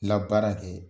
Labaara kɛ